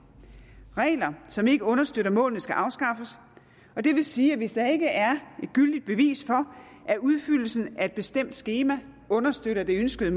regler som ikke understøtter målene skal afskaffes og det vil sige at hvis der ikke er et gyldigt bevis for at udfyldelsen af et bestemt skema understøtter det ønskede